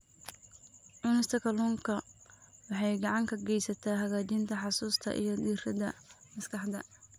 Cunista kalluunka waxay gacan ka geysataa hagaajinta xusuusta iyo diiradda maskaxda.